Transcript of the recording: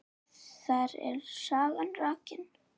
Þar er sagan rakin.